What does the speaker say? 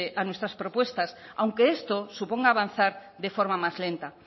a nuestras propuestas aunque esto suponga avanzar de forma más lenta